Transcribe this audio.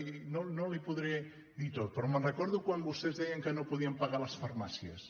i no li ho podré dir tot però me’n recordo de quan vostès deien que no podien pagar les farmàcies